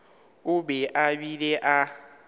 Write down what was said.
o be a bile a